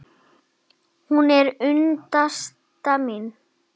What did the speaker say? Hún er unnusta mín!